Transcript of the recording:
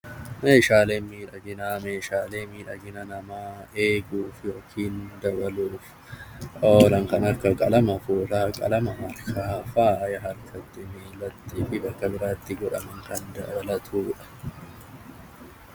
Meeshaalee miidhaginaa Meeshaaleen miidhaginaa Meeshaalee miidhaginaa namaa eeguuf yookaan dabaluuf kan akka qalama harkaa, qalama miilatti godhamu, qalama bakka biraatti godhamu kan dabalatudha.